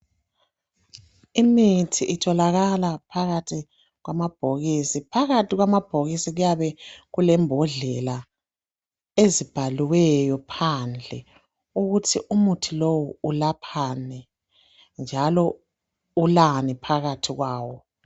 Imithi itholakala phakathi kwamabhokisi. Phakathi kwamabhokisi kuyabe kulembodlela. Ezibhaliweyo phandle, ukuthi umuthi lowu, ulaphani, njalo ulani phakathi kwawo.